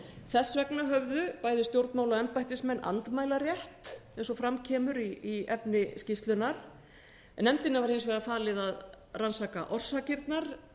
þess vegna höfðu bæði stjórnmála og embættismenn andmælarétt eins og fram kemur í efni skýrslunnar nefndinni var hins vegar falið að rannsaka orsakirnar